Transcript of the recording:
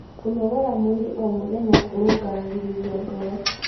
kũnogora mwĩrĩ o mũthenya kurungaragirirĩa ngoro